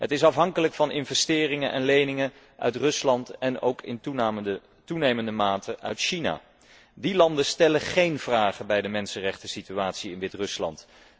Het is afhankelijk van investeringen en leningen uit Rusland en ook in toenemende mate uit China. Die landen stellen géén vragen bij de mensenrechtensituatie in Wit Rusland.